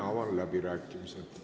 Avan läbirääkimised.